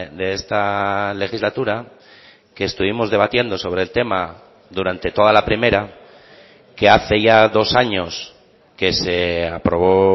de esta legislatura que estuvimos debatiendo sobre el tema durante toda la primera que hace ya dos años que se aprobó